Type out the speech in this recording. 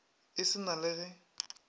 e se na le ge